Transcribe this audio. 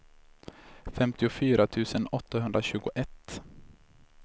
femtiofyra tusen åttahundratjugoett